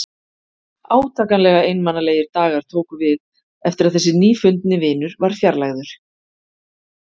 Átakanlega einmanalegir dagar tóku við eftir að þessi nýfundni vinur var fjarlægður.